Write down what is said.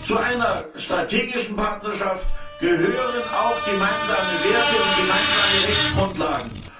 Zu einer strategischen Partnerschaft gehören auch gemeinsame Werte und gemeinsame Rechtsgrundlagen.